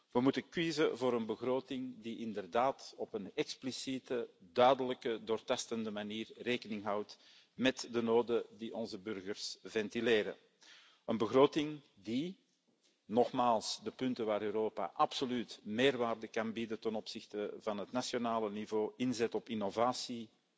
We moeten kiezen voor een begroting die inderdaad op een expliciete, duidelijke en doortastende manier rekening houdt met de noden die onze burgers ventileren, een begroting die nogmaals, de punten waar Europa absoluut meerwaarde kan bieden ten opzichte van het nationale niveau inzet op innovatie,